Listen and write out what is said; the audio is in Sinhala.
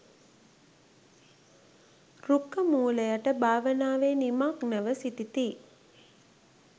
රුක්‍ඛ මූල යට භාවනාවේ නිමග්නව සිටිති.